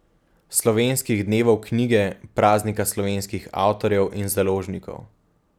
Slovenskih dnevov knjige, praznika slovenskih avtorjev in založnikov.